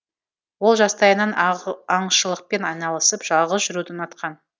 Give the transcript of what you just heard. ол жастайынан аңшылықпен айналысып жалғыз жүруді ұнатқан